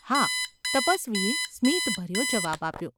‘હા’ તપસ્વીએ સ્મિતભર્યો જવાબ આપ્યો.